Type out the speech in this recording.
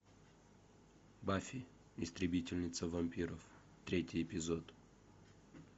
баффи истребительница вампиров третий эпизод